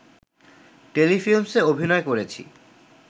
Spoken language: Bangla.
টেলিফিল্মসে অভিনয় করেছি